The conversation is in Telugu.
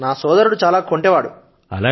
నా సోదరుడు కొంచెం కొంటె వాడు